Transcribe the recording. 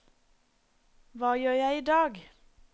hva gjør jeg idag